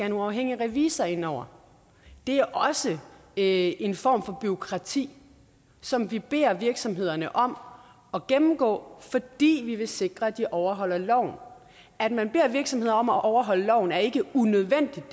en uafhængig revisor ind over det er også en form for bureaukrati som vi beder virksomhederne om at gennemgå fordi vi vil sikre at de overholder loven at man beder virksomheder om at overholde loven er ikke unødvendigt